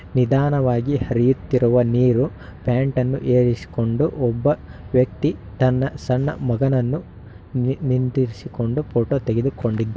ನಿಧಾನವಾಗಿ ಹರಿಯುತ್ತಿರುವ ನೀರು ಪ್ಯಾಂಟ್ ಅನ್ನು ಏರಿಸಿಕೊಂಡು ಒಬ್ಬ ವ್ಯಕ್ತಿ ತನ್ನ ಸಣ್ಣ ಮಗನನ್ನು ನಿ-ನಿಂದಿರಿಸಿಕೊಂಡು ಫೋಟೋ ತೆಗಿದುಕೊಂಡಿ--